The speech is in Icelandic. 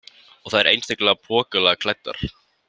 Og þær einstaklega pokalega klæddar.